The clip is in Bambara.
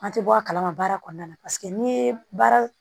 An tɛ bɔ a kalama baara kɔnɔna na paseke n'i ye baara